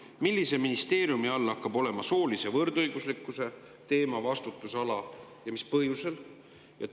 Esiteks, millise ministeeriumi all hakkab olema soolise võrdõiguslikkuse teema vastutusala ja mis põhjusel?